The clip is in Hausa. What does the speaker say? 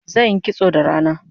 Zanyi kitso da rana